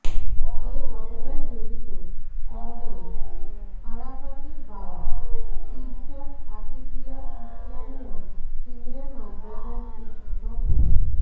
এ ঘটনায় জড়িত সন্দেহে আরাফাতের বাবা তীরচর আতিকীয়া ইসলামিয়া সিনিয়র মাদ্রাসার শিক্ষক মো